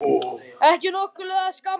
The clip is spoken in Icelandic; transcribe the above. Ekki nokkur leið að skamma hann.